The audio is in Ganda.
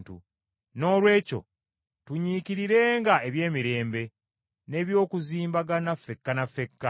Noolwekyo tunyiikirirenga eby’emirembe, n’eby’okuzimbagana ffekka ne ffekka.